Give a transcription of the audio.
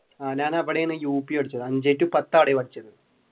ഞാൻ അവിടെയാണ് U P പഠിച്ചത് അഞ്ചേ ടു പത്തു അവിടെയാണ് പഠിച്ചത്.